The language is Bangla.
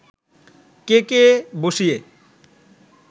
কেকে বসিয়ে